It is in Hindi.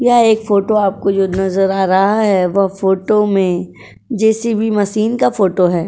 यह एक फोटो आपको जो नज़र आ रहा है वह फोटो में जे सी बी मशीन का फोटो है।